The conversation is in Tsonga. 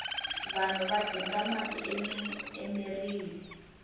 vanhu va dinga mati emirhini